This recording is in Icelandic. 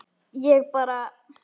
Ég bara.